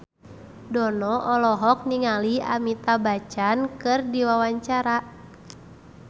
Dono olohok ningali Amitabh Bachchan keur diwawancara